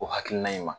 O hakilina in ma